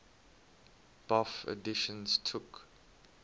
bofh editions took